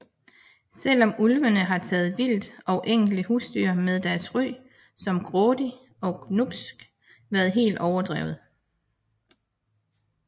Selvom ulvene har taget vildt og enkelte husdyr har deres ry som grådig og glubsk været helt overdrevet